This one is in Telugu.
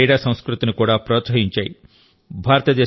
భారతదేశ క్రీడా సంస్కృతిని కూడా ప్రోత్సహించాయి